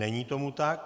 Není tomu tak.